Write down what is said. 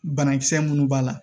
Banakisɛ minnu b'a la